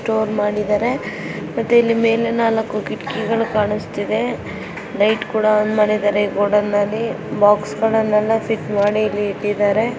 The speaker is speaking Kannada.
ಸ್ಟೋರ್ ಮಾಡಿದರೆ ಮತ್ತೆ ಇಲ್ಲಿ ಮೇಲೆ ನಾಲ್ಕು ಕಿಟಕಿ ಕಾಣಿಸ್ತಾಯಿದೆ ಲೈಟ್ ಕೂಡ ಆನ್ ಮಾಡಿದರೆ ಗೋಡಾನ್ ಬಾಕ್ಸ್ ಫಿಟ್ ಮಾಡಿ ಇಟ್ಟಿದ್ದಾರೆ.